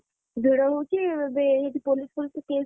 ଭିଡ ହଉଛି ବି ଏମିତି ପୋଲିସ କେସ।